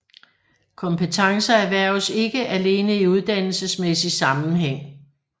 Kompetencer erhverves ikke alene i uddannelsesmæssig sammenhæng